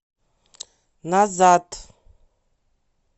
назад